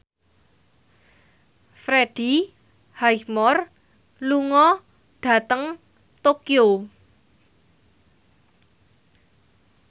Freddie Highmore lunga dhateng Tokyo